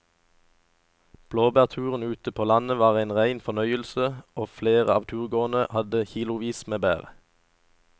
Blåbærturen ute på landet var en rein fornøyelse og flere av turgåerene hadde kilosvis med bær.